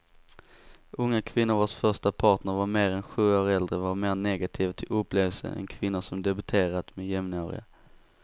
Unga kvinnor vars första partner var mer än sju år äldre var mer negativa till upplevelsen än kvinnor som debuterat med jämnåriga.